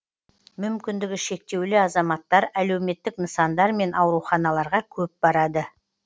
мүмкіндігі шектеулі азаматтар әлеуметтік нысандар мен ауруханаларға көп барады